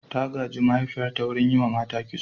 Ta gaji mahaifiyarta wurin yi wa mata kitso.